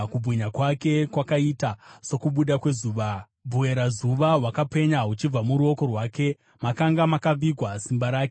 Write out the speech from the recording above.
Kubwinya kwake kwakaita sokubuda kwezuva; bwerazuva hwakapenya huchibva muruoko rwake, makanga makavigwa simba rake.